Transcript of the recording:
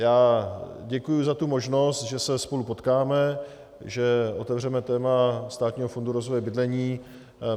Já děkuji za tu možnost, že se spolu potkáme, že otevřeme téma Státního fondu rozvoje bydlení.